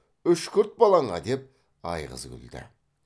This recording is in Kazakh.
үшкірт балаңа деп айғыз күлді